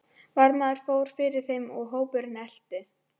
Varðmaðurinn fór fyrir þeim og hópurinn elti.